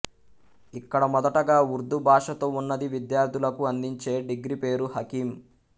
ఇక్కడ మొదటగా ఉర్దూ భాషతో ఉన్నది విద్యార్థులకు అందించే డిగ్రీ పేరు హకీమ్